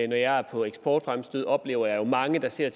jeg er på eksportfremstød oplever jeg jo mange der ser